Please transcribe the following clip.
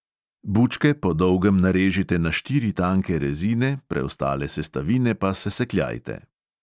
Bučke po dolgem narežite na štiri tanke rezine, preostale sestavine pa sesekljajte.